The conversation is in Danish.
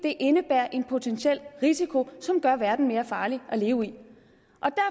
indebærer en potentiel risiko som gør verden mere farlig at leve i vi